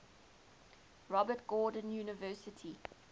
robert gordon university